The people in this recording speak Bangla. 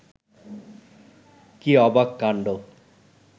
কী অবাক কাণ্ড